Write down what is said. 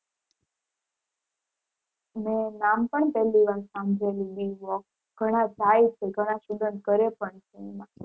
મેં નામ પણ પેલી વાર સાંભળેલુ B. voc ઘણા જાય છે ઘણા student કરે પણ છે એમાં.